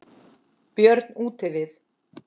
Björn útivið.